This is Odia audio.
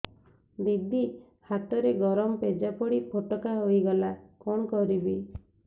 ଦିଦି ହାତରେ ଗରମ ପେଜ ପଡି ଫୋଟକା ହୋଇଗଲା କଣ କରିବି